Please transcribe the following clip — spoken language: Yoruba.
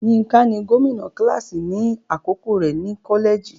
Yínká ni gómìnà kíláàsì ní àkókò rẹ̀ ní kọ́lẹ́ẹ̀jì.